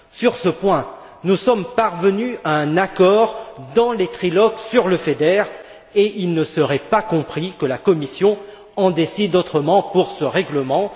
Sur ce point, nous sommes parvenus à un accord dans les trilogues sur le FEDER et il ne serait pas compris que la Commission en décide autrement pour ce règlement.